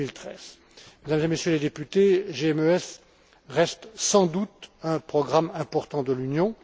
2013. Mesdames et Messieurs les députés, GMES reste sans doute un programme important de l'Union.